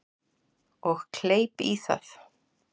Og kleip í það.